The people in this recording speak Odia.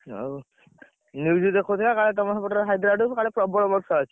ଆଉ, News ରେ ଦେଖଉଥିଲା କାଳେ ତମ ସେପଟରେ Hyderabad ଆଡକୁ କାଳେ ପ୍ରବଳ ବର୍ଷା ଅଛି।